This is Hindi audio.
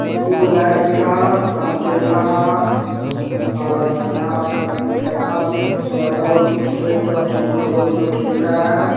दुगो लाइट दिख रहा है साम के बेला हा और यहाँ लड़का लड़का लोग क्रिकेट की फुटबॉल सब खेल रहा है।